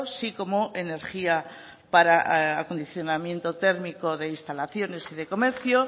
sí como energía para acondicionamiento térmico de instalaciones y de comercio